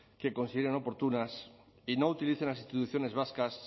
que consideren oportunas y no utilicen las instituciones vascas